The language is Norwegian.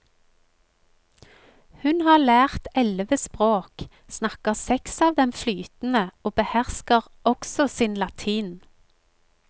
Hun har lært elleve språk, snakker seks av dem flytende og behersker også sin latin.